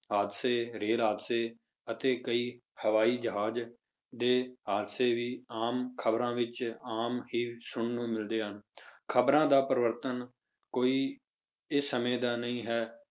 ਹਾਦਸੇ ਰੇਲ ਹਾਦਸੇ ਅਤੇ ਕਈ ਹਵਾਈ ਜਹਾਜ਼ ਦੇ ਹਾਦਸੇ ਵੀ ਆਮ ਖ਼ਬਰਾਂ ਵਿੱਚ ਆਮ ਹੀ ਸੁਣਨ ਨੂੰ ਮਿਲਦੇ ਹਨ, ਖ਼ਬਰਾਂ ਦਾ ਪਰਿਵਰਤਨ ਕੋਈ ਇਸ ਸਮੇਂ ਦਾ ਨਹੀਂ ਹੈ